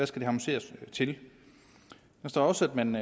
skal harmoniseres til der står også at man